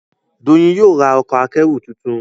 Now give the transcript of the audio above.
Doyin yóò rá Ọkọ̀ akẹ́rù títún.